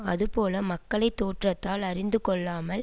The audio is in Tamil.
அதுபோல மக்களை தோற்றத்தால் அறிந்துகொள்ளாமல்